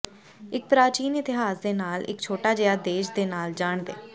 ਇੱਕ ਪ੍ਰਾਚੀਨ ਇਤਿਹਾਸ ਦੇ ਨਾਲ ਇੱਕ ਛੋਟਾ ਜਿਹਾ ਦੇਸ਼ ਦੇ ਨਾਲ ਜਾਣਦੇ